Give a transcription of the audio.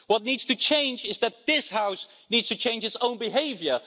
What needs to change is that this House needs to change its own behaviour.